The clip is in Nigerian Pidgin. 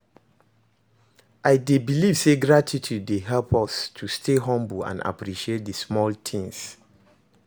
I dey believe say gratitude dey help us to stay humble and appreciate di small things.